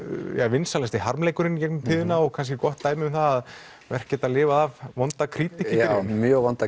vinsælasti harmleikurinn í gegnum tíðina og kannski gott dæmi um það að verk geta lifað af vonda krítík já mjög vonda